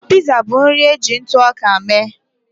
Piza bụ nri e ji ntụ ọka mee